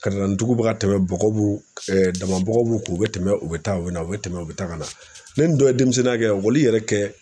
Ka na ni duguba ka tɛmɛ bɔgɔ b'u dama bɔgɔ b'u kun u bɛ tɛmɛ u bɛ taa u bɛ na u bɛ tɛmɛ u bɛ taa ka na ni nin dɔ ye denmisɛnninya kɛ yɛrɛ kɛ.